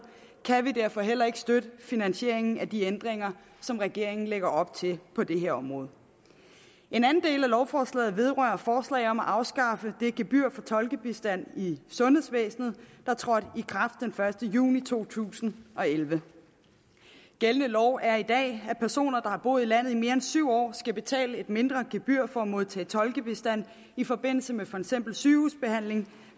kan vi derfor heller ikke støtte finansieringen af de ændringer som regeringen lægger op til på det her område en anden del af lovforslaget vedrører forslag om at afskaffe det gebyr for tolkebistand i sundhedsvæsenet der trådte i kraft den første juni to tusind og elleve gældende lov er i dag at personer der har boet i landet i mere end syv år skal betale et mindre gebyr for at modtage tolkebistand i forbindelse med for eksempel sygehusbehandling